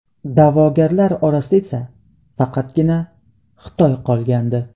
Da’vogarlar orasida esa faqatgina Xitoy qolgandi.